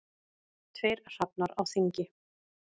Tveir hrafnar á þingi.